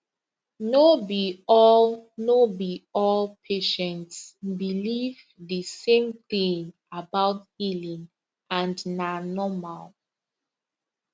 no be all no be all patients believe the same thing about healing and na normal